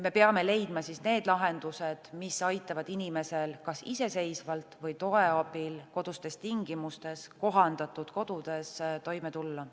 Me peame leidma siis need lahendused, mis aitavad inimesel kas iseseisvalt või toe abil kodustes tingimustes, kohandatud kodus, toime tulla.